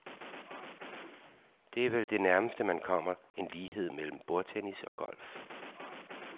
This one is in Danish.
Det er vel det nærmeste man kommer en lighed mellem bordtennis og golf.